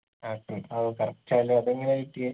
apple ആവു correct ആണല്ലോ അതെങ്ങനെ കിട്ടിയേ